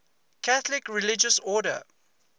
catholic religious order